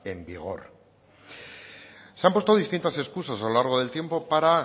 en vigor se han puesto distintas excusas a lo largo del tiempo para